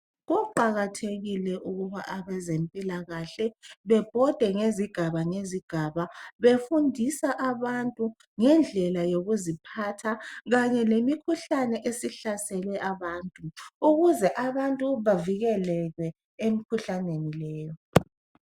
Kuqakathekile ukuba abezempilakahle bebhode ngezigaba ngenzigaba befundisa abantu ngendlela yokuziphatha kanye lemikhuhlane esihlasele abantu ukuze abantu bavikeleke emikhuhlaneni leyi